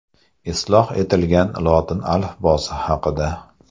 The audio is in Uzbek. Isloh etilgan lotin alifbosi haqida.